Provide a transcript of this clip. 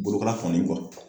Bolokara kɔni kɔ.